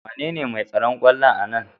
Wanene mai tsaron kwallon a Nan?